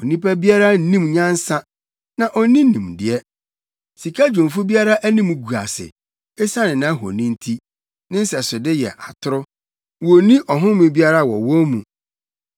“Onipa biara nnim nyansa, na onni nimdeɛ; sikadwumfo biara anim gu ase, esiane nʼahoni nti. Ne nsɛsode yɛ atoro; wonni ɔhome biara wɔ wɔn mu.